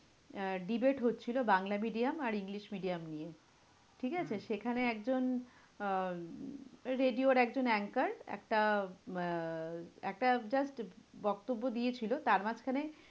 আহ debate হচ্ছিলো Bangla medium আর English medium নিয়ে, ঠিক আছে? সেখানে একজন আহ radio র একজন anchor একটা আহ একটা just বক্তব্য দিয়েছিলো তার মাঝখানে